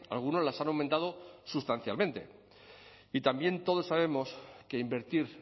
algunos las han aumentado sustancialmente y también todos sabemos que invertir